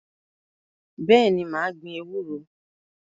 Bẹ́ẹ̀ni, mà á gbin ewúro.